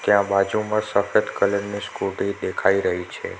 ત્યાં બાજુમાં સફેદ કલરની સ્કુટી દેખાઈ રહી છે.